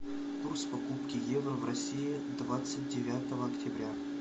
курс покупки евро в россии двадцать девятого октября